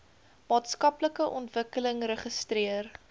maatskaplike ontwikkeling registreer